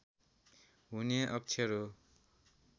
हुने अक्षर हो